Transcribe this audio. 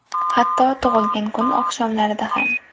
Hatto tug‘ilgan kun oqshomlarida ham!